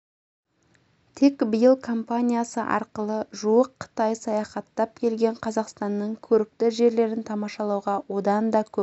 тек биыл компаниясы арқылы жуық қытай саяхаттап келген қазақстанның көрікті жерлерін тамашалуға одан да көп